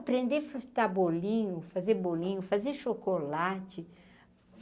Aprender a fritar bolinho, fazer bolinho, fazer chocolate.